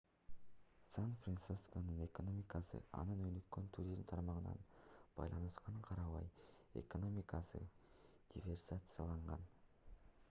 сан-францисконун экономикасы анын өнүккөн туризм тармагына байланышканына карабай экономикасы диверсификацияланган